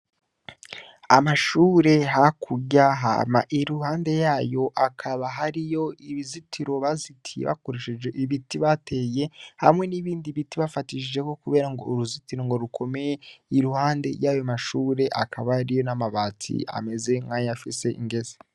Amashure hakurya hama iruhande yayo hakaba hariyo ibizitiro bazitiye bakoresheje ibiti bateye hamwe n'ibindi biti bafatishijeho kugirango uruzitiro ngo rukomeye iruhande yayo mashure akaba ariyo n'amabati amezenk'ayafise ingese.